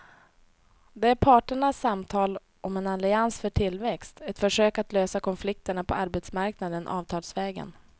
Det är parternas samtal om en allians för tillväxt, ett försök att lösa konflikterna på arbetsmarknaden avtalsvägen.